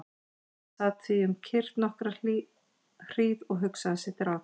Hann sat því um kyrrt nokkra hríð og hugsaði sitt ráð.